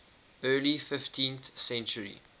early fifteenth century